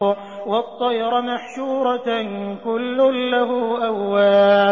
وَالطَّيْرَ مَحْشُورَةً ۖ كُلٌّ لَّهُ أَوَّابٌ